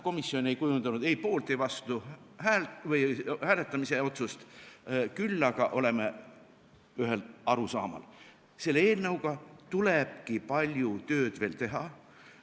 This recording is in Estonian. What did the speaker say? Komisjon ei kujundanud ei poolt- ega vastuhääletamise otsust, küll aga oleme ühel arusaamal: selle eelnõuga tulebki veel palju tööd teha.